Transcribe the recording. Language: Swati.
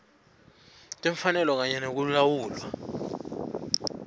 timfanelo kanye nekulawula